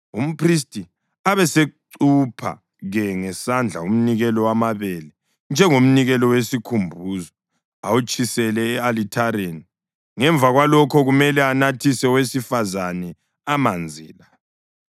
Umphristi abesechupha-ke ngesandla umnikelo wamabele njengomnikelo wesikhumbuzo awutshisele e-alithareni; ngemva kwalokho kumele anathise owesifazane amanzi la.